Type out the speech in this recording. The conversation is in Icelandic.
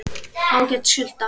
Ágæt sulta.